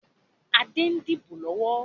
Adé ń dìbò lọ́wọ́